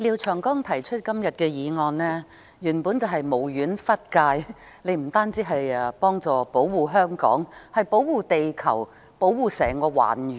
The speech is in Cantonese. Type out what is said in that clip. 廖長江議員今天提出的原議案，本是無遠弗屆，不單要保護香港，還要保護地球，甚至整個環宇。